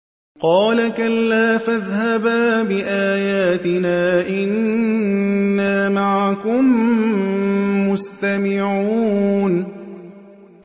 قَالَ كَلَّا ۖ فَاذْهَبَا بِآيَاتِنَا ۖ إِنَّا مَعَكُم مُّسْتَمِعُونَ